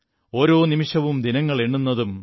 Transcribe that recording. ഓരോനിമിഷവും ദിനങ്ങളെണ്ണുന്നതും